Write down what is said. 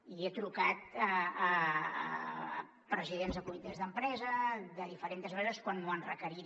i he trucat a presidents de comitès d’empresa de diferents empreses quan m’ho han requerit